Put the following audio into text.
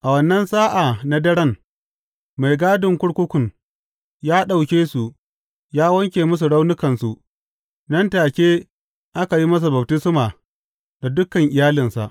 A wannan sa’a na daren, mai gadin kurkukun ya ɗauke su ya wanke musu raunukansu; nan take aka yi masa baftisma da dukan iyalinsa.